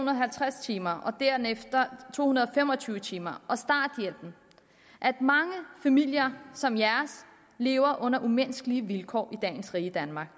og halvtreds timers og derefter to hundrede og fem og tyve timers og starthjælpen at mange familier som jeres lever under umenneskelige vilkår i dagens rige danmark